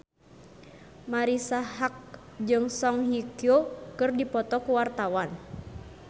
Marisa Haque jeung Song Hye Kyo keur dipoto ku wartawan